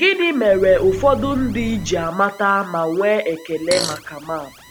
Gịnị mere ụfọdụ ndị ji ji amata ma nwee ekele maka maapụ?